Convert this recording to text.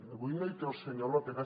avui no hi té el senyor lópez